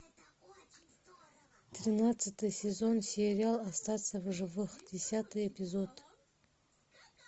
тринадцатый сезон сериал остаться в живых десятый эпизод